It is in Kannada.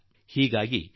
್ಕ್ರಿಯವಾಗಿ ಬಿಡುತ್ತದೆ